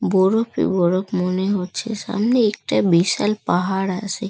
বোরফে বরফ মনে হচ্ছে। সামনে একটা বিশাল পাহাড় আসে ।